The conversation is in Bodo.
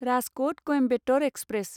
राजक'ट क'यम्बेटर एक्सप्रेस